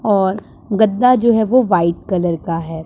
और गद्दा जो है वो व्हाइट कलर का हैं।